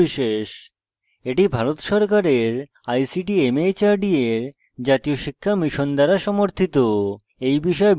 এটি ভারত সরকারের ict mhrd এর জাতীয় শিক্ষা mission দ্বারা সমর্থিত